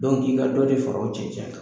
k'i ka dɔ de fara o cɛncɛn kan